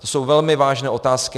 To jsou velmi vážné otázky.